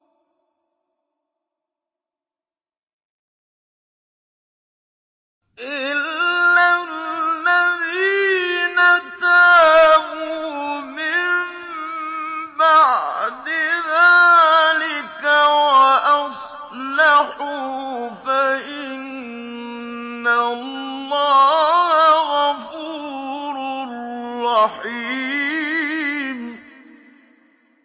إِلَّا الَّذِينَ تَابُوا مِن بَعْدِ ذَٰلِكَ وَأَصْلَحُوا فَإِنَّ اللَّهَ غَفُورٌ رَّحِيمٌ